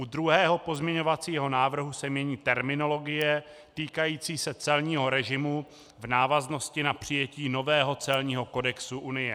U druhého pozměňovacího návrhu se mění terminologie týkající se celního režimu v návaznosti na přijetí nového celního kodexu Unie.